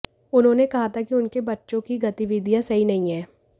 उन्होंने कहा था कि उनके बच्चों की गतिविधियां सही नहीं है